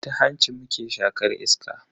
Ta hanci muke shaƙar iska.